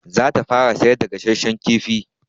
Za ta fara sayar da gasashshan kifi.